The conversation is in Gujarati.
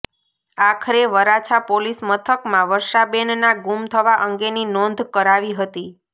આખરે વરાછા પોલીસ મથકમાં વર્ષાબેનના ગુમ થવા અંગેની નોંધ કરાવી હતી